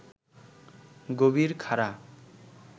গভীর খাড়া